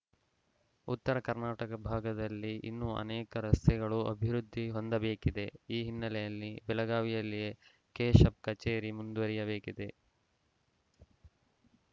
ಉತ್ತರ ಕರ್ನಾಟಕ ಭಾಗದಲ್ಲಿ ಇನ್ನೂ ಅನೇಕ ರಸ್ತೆಗಳು ಅಭಿವೃದ್ಧಿ ಹೊಂದಬೇಕಿದೆ ಈ ಹಿನ್ನೆಲೆಯಲ್ಲಿ ಬೆಳಗಾವಿಯಲ್ಲಿಯೇ ಕೆಶೆಪ್‌ ಕಚೇರಿ ಮುಂದುವರಿಯಬೇಕಿದೆ